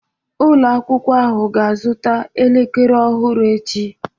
Ụlọ akwụkwọ ahụ ga-azụta elekere ọhụrụ echi.